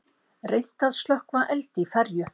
Reynt að slökkva eld í ferju